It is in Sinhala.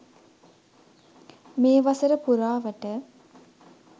මේ වසර පුරාවට